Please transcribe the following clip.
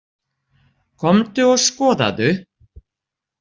Komdu og skoðaðu.